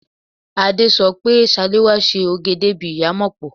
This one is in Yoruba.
Adé sọ pé Ṣaléwá ṣe òge débi ìyámọ̀pó.